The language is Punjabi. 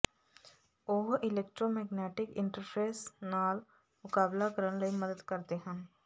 ਉਹ ਇਲੈਕਟਰੋਮੈਗਨੈਟਿਕ ਇੰਟਰਫੇਸ ਨਾਲ ਮੁਕਾਬਲਾ ਕਰਨ ਲਈ ਮਦਦ ਕਰਦੇ ਹਨ